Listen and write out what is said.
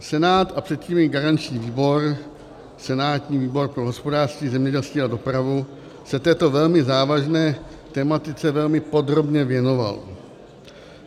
Senát a předtím i garanční výbor, senátní výbor pro hospodářství, zemědělství a dopravu, se této velmi závažné tematice velmi podrobně věnoval.